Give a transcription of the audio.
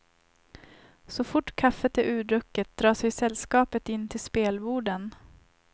Så fort kaffet är urdrucket drar sig sällskapet in till spelborden.